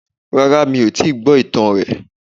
Rárá mi ò tíì gbọ́ ìtàn rè